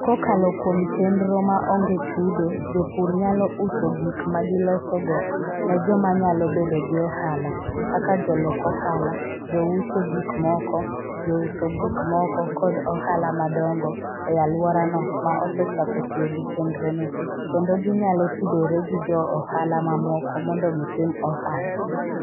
Kokalo kuom chenro ma onge chudo, jopur nyalo uso gik ma gilosogo ne joma nyalo bedo gi ohala, kaka jolok ohala, jouso gik moko, jouso gik moko, kod ohala madongo e alworano ma osechako tiyo gi chenrono, kendo ginyalo tudore gi jo ohala mamoko mondo gitim ohala.